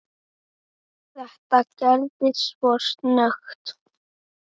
Þetta gerðist svo snöggt.